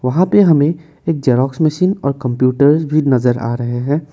यहाँ पे हमें एक जेरॉक्स मशीन और कंप्यूटर्स भी नजर आ रहे हैं।